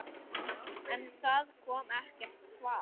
En það kom ekkert svar.